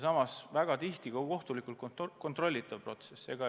Samas on väga tihti tegu kohtulikult kontrollitava protsessiga.